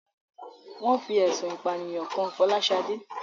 Wón fi ẹ̀sùn ìpànìyàn kan Fọláṣadé